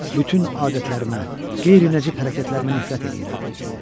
Bütün adətlərimə, qeyri-nəcib hərəkətlərimə nifrət eləyirəm.